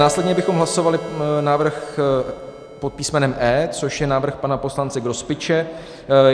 Následně bychom hlasovali návrh pod písmenem E, což je návrh pana poslance Grospiče.